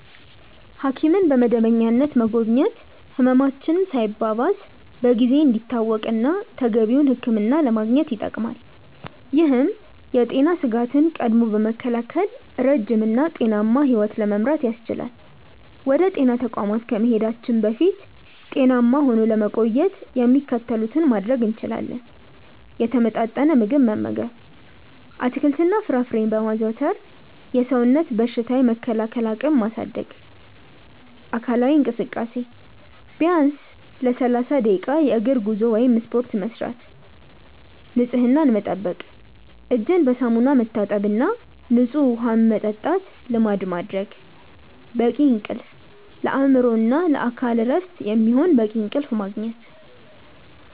ሐኪምን በመደበኛነት መጎብኘት ህመማችን ሳይባባስ በጊዜ እንዲታወቅና ተገቢውን ሕክምና ለማግኘት ይጠቅማል። ይህም የጤና ስጋትን ቀድሞ በመከላከል ረጅም እና ጤናማ ሕይወት ለመምራት ያስችላል። ወደ ጤና ተቋማት ከመሄዳችን በፊት ጤናማ ሆኖ ለመቆየት የሚከተሉትን ማድረግ እንችላለን፦ የተመጣጠነ ምግብ መመገብ፦ አትክልትና ፍራፍሬን በማዘውተር የሰውነትን በሽታ የመከላከል አቅም ማሳደግ። አካላዊ እንቅስቃሴ፦ በቀን ቢያንስ ለ30 ደቂቃ የእግር ጉዞ ወይም ስፖርት መስራት። ንፅህናን መጠበቅ፦ እጅን በሳሙና መታጠብና ንፁህ ውሃ መጠጣትን ልማድ ማድረግ። በቂ እንቅልፍ፦ ለአእምሮና ለአካል እረፍት የሚሆን በቂ እንቅልፍ ማግኘት።